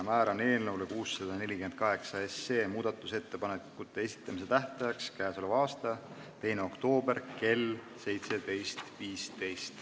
Määran eelnõu 648 muudatusettepanekute esitamise tähtajaks k.a 2. oktoobri kell 17.15.